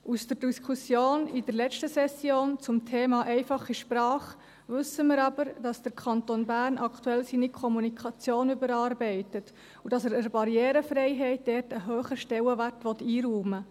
Aus der Diskussion in der letzten Session zum Thema «einfache Sprache» wissen wir aber, dass der Kanton Bern aktuell seine Kommunikation überarbeitet und dass er der Barrierefreiheit dort einen hohen Stellenwert einräumen will.